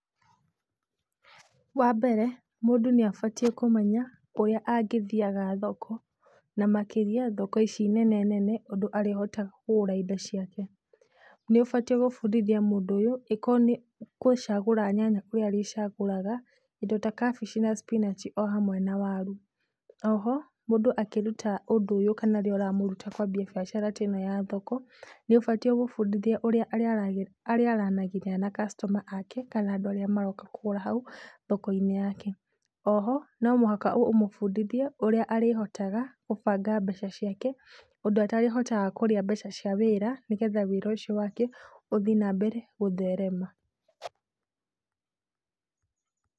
Wa mbere mũndũ nĩ abatiĩ kũmenya ũrĩa angĩthiaga thoko, na makĩria thoko ici nene nene ũndũ arĩhotaga kũgũra indo ciake. Nĩ ũbatiĩ gũbundithia mũndũ ũyũ angĩkorwo nĩ gũcagũra nyanya kũrĩa arĩcagũraga, indo ta cabbage na spinach ohamwe na waru. O ho mũndũ akĩruta ũndũ ũyũ kana rĩrĩa ũramũruta kwambia biacara ta ĩno ya thoko, nĩ ũbatiĩ ũmũbundithie ũrĩa arĩara, arĩaranagĩria na customers ake kana andũ arĩa maroka kũgũra hau thoko-inĩ yake. O ho no mũhaka ũmũbundithie ũrĩa arĩhotaga gũbanga mbeca ciake, ũndũ atarĩhotaga kũrĩa mbeca cia wĩra, nĩgetha wĩra ũcio wake ũthiĩ na mbere gũtherema.